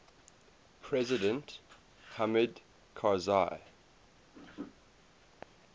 president hamid karzai